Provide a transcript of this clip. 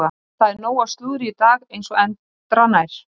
Það er nóg af slúðri í dag eins og endranær.